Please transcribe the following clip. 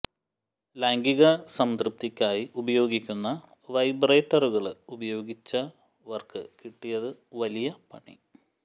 ലൈംഗിക സംതൃപ്തിക്കായി ഉപയോഗിക്കുന്ന വൈബ്രറ്ററുകള് ഉപയോഗിച്ചവര്ക്ക് കിട്ടിയത് വലിയ പണി